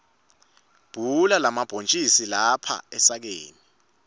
bhula lamabhontjisi lapha esakeni